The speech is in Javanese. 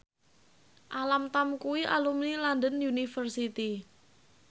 Alam Tam kuwi alumni London University